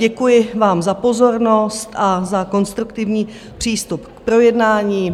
Děkuji vám za pozornost a za konstruktivní přístup k projednání.